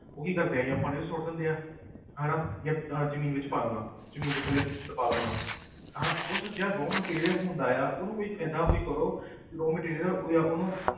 ਉਹ ਕੀ ਕਰਦੇ ਹੈ ਜਾਂ ਪਾਣੀ 'ਚ ਸੁੱਟ ਦਿੰਦੇ ਆ ਹਨਾ ਜਾਂ ਅਹ ਜ਼ਮੀਨ ਵਿੱਚ ਪਾ ਦੇਣਾ ਜ਼ਮੀਨ ਦੇ ਥੱਲੇ ਦਬਾ ਦੇਣਾ ਹਨਾ ਉਹ raw material ਹੁੰਦਾ ਆ ਉਹਨੂੰ ਕੋਈ ਏਦਾਂ ਕੋਈ ਕਰੋ ਵੀ raw material ਉਹ ਜਾਂ ਉਹਨੂੰ,